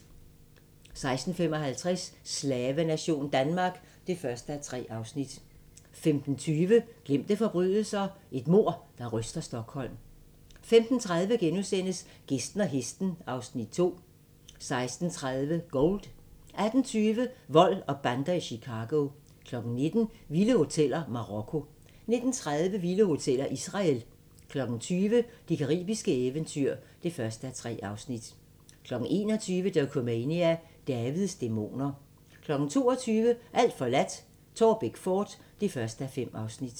14:55: Slavenation Danmark (1:3) 15:20: Glemte forbrydelser - et mord, der ryster Stockholm 15:30: Gæsten og hesten (Afs. 2)* 16:30: Gold 18:20: Vold og bander i Chicago 19:00: Vilde hoteller: Marokko 19:30: Vilde hoteller: Israel 20:00: Det caribiske eventyr (1:3) 21:00: Dokumania: Davids dæmoner 22:00: Alt forladt – Taarbæk fort (1:5)